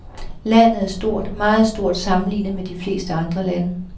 Landet er stort, meget stort sammenlignet med de fleste andre lande.